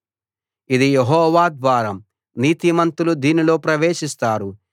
ఇది యెహోవా ద్వారం నీతిమంతులు దీనిలో ప్రవేశిస్తారు